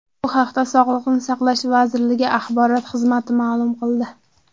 Bu haqda Sog‘liqni saqlash vazirligi axborot xizmati ma’lum qildi.